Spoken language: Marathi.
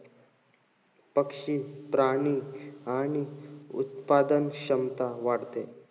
पक्षी, प्राणी आणि उत्पादन क्षमता वाढते.